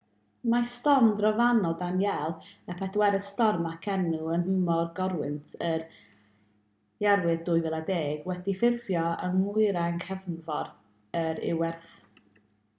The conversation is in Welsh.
mae storm drofannol danielle y bedwaredd storm ag enw yn nhymor corwynt yr iwerydd 2010 wedi ffurfio yn nwyrain cefnfor yr iwerydd